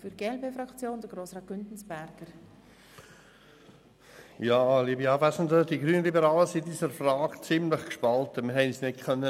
Die glp-Fraktion ist gespalten und hat sich nicht einigen können.